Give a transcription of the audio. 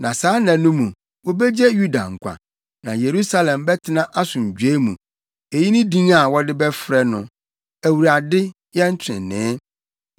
Saa nna no mu, wobegye Yuda nkwa na Yerusalem bɛtena asomdwoe mu. Eyi ne din a wɔde bɛfrɛ no Awurade, Yɛn Trenee.’